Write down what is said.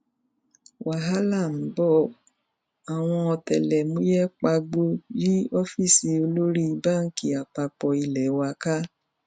wàhálà ń bọàwọn ọtẹlẹmúyẹ pagbo yí ọfíìsì olórí báǹkì àpapọ ilé wa ká